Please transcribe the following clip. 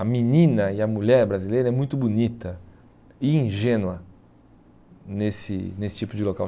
a menina e a mulher brasileira é muito bonita e ingênua nesse nesse tipo de local.